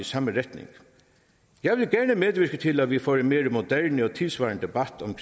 samme retning jeg vil gerne medvirke til at vi får en mere moderne og tidssvarende debat om